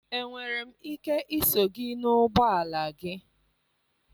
Enwere m ike iso gị n'ụgbọ ala gị?